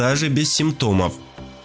даже без симптомов